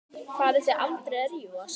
Farið þið aldrei að rífast?